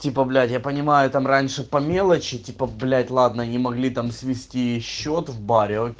типа блять я понимаю там раньше по мелочи типа блять ладно не могли там свести счёт в баре